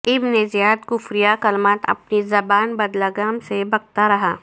ابن زیاد کفریہ کلمات اپنی زبان بدلگام سے بکتا رہا